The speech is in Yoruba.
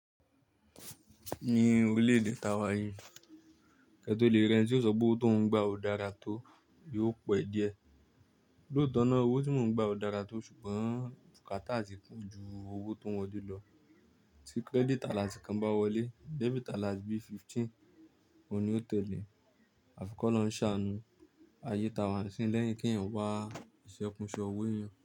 Ní orílẹ̀ èdè tá wá yí, kẹ́ tó lè rẹni ti ó ṣọ pé owó tó ń gbà ò dára tó, yóò pẹ́ díẹ̀. Lóòótọ́ náà owó tí mò ń gba ò dára tó ṣùgbọ́n bukata ti poju owó tó ń wọlé lọ. Tí credit alert kan bá wọlé, debit alert bí fifteen òní ó tẹ́lẹ̀. Àfi kọ́loun ṣàánú ayé táa wá nsiyin lẹ́yìn kí èèyàn wá ìṣe kunse owó eyan.